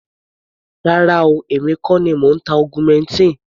Rárá o, èmi kọ́ ni mò ń ta augmentin.